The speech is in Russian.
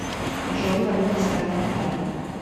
джой валюта страны катар